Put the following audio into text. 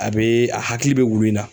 A bee a hakili be wulu in na.